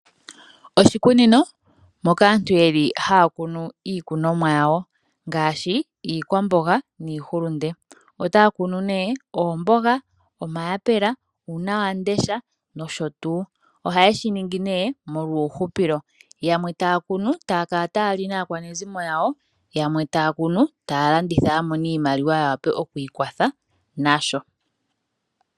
Oshikunino moka aantu yeli hakunumo iikunomwa yawo ngashi iikwambonga niihulunde, ota kuku ne oombanga, omayapela , uuna wandesha nosho tu, oha shiningi ne molwa uuhupilo, yamwe takunu takala tali aakwanezimo yawo yamwe takunu talanditha yamone iimaliwa yawape okwi kwatha nasho.